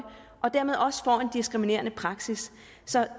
og dermed også får en diskriminerende praksis så